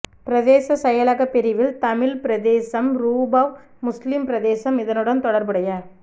பிரதேச செயலகப் பிரிவில் தமிழ் பிரதேசம்ரூபவ் முஸ்லிம் பிரதேசம் இதனுடன் தொடர்புடைய